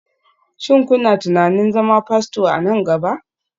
Shin kuna tunanin zama Fasto a nan gaba?